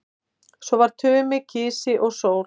Svo var Tumi kisi og sól.